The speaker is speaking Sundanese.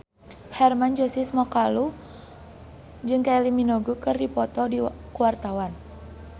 Hermann Josis Mokalu jeung Kylie Minogue keur dipoto ku wartawan